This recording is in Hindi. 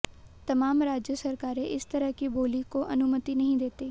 तमाम राज्य सरकारें इस तरह की बोली को अनुमति नहीं देतीं